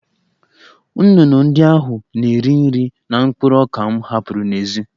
Nnụnụ ndị ahụ na-eri nri na mkpụrụ ọka m hapụrụ n'èzí